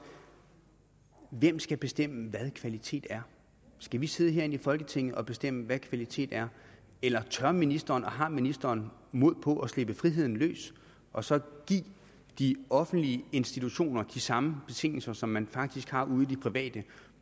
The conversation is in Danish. hvem skal bestemme hvad kvalitet er skal vi sidde herinde i folketinget og bestemme hvad kvalitet er eller tør ministeren og har ministeren mod på at slippe friheden løs og så give de offentlige institutioner de samme betingelser som man faktisk har ude i de private